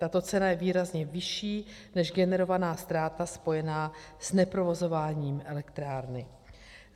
Tato cena je výrazně vyšší než generovaná ztráta spojená s neprovozováním elektrárny.